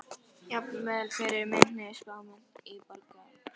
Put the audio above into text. Jafnvel fyrir minni spámenn í borgarastétt.